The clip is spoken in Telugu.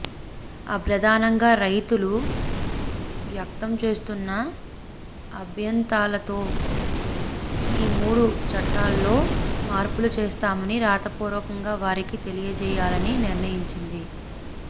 ప్రధానంగా రైతులు వ్యక్తం చేస్తున్న అభ్యంతాలతో ఈ మూడు చట్టాల్లో మార్పులు చేస్తామని రాతపూర్వకంగా వారికి తెలియచేయాలని నిర్ణయించింది